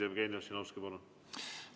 Jevgeni Ossinovski, palun!